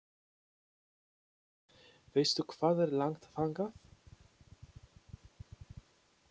Veistu hvað er langt þangað?